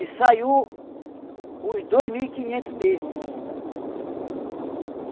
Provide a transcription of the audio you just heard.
E saiu os dois mil e quinhentos mesmo. Não